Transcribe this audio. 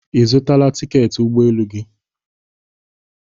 Ị zụtala tiketi ụgbọ elu gị?